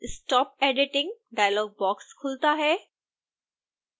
stop editing dialog box खुलता है